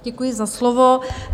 Děkuji za slovo.